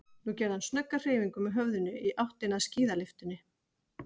Nú gerði hann snögga hreyfingu með höfðinu í áttina að skíðalyftunni.